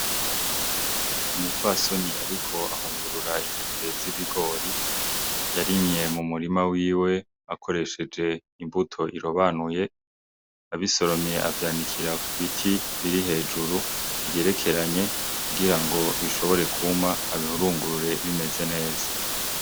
Umupfasoni ariko ahungurura intete z'ibigori yarimye mu murima wiwe akoreshej'imbuto irobanuye, abisoromye avyanikira ku biti biri hejuru bigerekeranye kugira ngo bishobore kuma abihurungurure bimeze neza.